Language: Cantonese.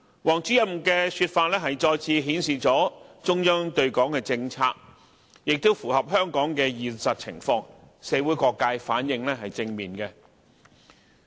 王主任的說法再次表明了中央對港的政策，亦符合香港的現實情況，社會各界反應正面。